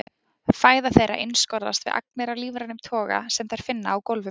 Fæða þeirra einskorðast við agnir af lífrænum toga sem þær finna á gólfum.